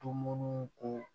Tomunu ko